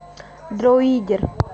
дроидер